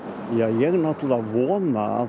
ég náttúrulega vona að